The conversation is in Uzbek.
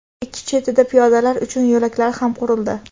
ikki chetida piyodalar uchun yo‘laklar ham qurildi.